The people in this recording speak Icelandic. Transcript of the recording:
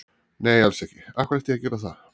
Nei alls ekki, af hverju ætti ég að gera það?